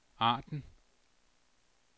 Arden